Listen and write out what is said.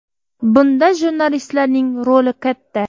Bunda jurnalistlarning roli katta.